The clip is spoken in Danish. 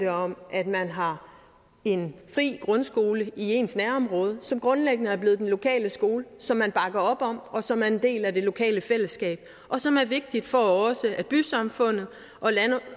om at man har en fri grundskole i ens nærområde som grundlæggende er blevet den lokale skole som man bakker op om og som er en del af det lokale fællesskab og som er vigtigt for også at bysamfundet